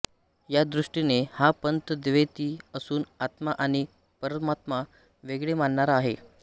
या दृष्टीने हा पंथ द्वैती असून आत्मा आणि परमात्मा वेगळे मानणारा आहे